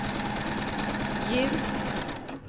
ljus